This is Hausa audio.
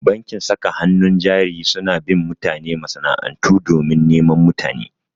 Bankin saka hannun jari suna bin mutane masana'antu domin neman mutane.